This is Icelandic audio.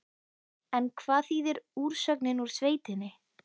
En hvað þýðir úrsögnin úr sveitinni?